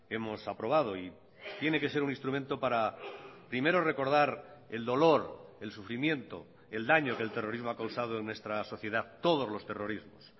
hemos aprobado y tiene que ser un instrumento para primero recordar el dolor el sufrimiento el daño que el terrorismo ha causado en nuestra sociedad todos los terrorismos